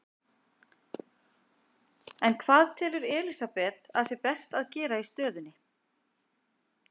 En hvað telur Elísabet að best sé að gera í stöðunni?